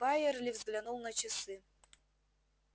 байерли взглянул на часы